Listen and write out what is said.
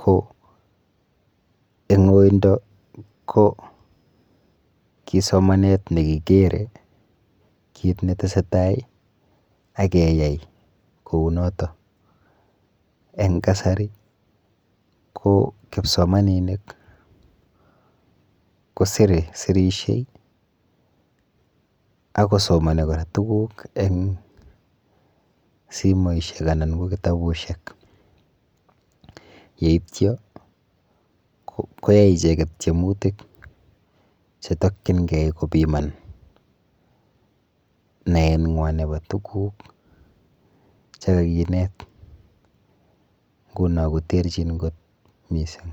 ko eng oindo ko ki somanet nekikere kit netesetai akeyai kou noto. Eng kasari ko kipsomaninik kosire, sirishei akosomoni kora tuguk eng simoishek anan ko kitabushek yeityo koyai icheket tyemutik chetokchingei kopiman neeng'wa nepo tuguk chekakinet nguno koterchin kot mising.